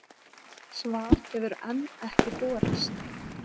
Svar hefur enn ekki borist.